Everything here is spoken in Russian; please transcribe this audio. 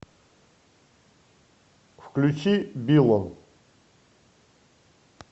включи биллон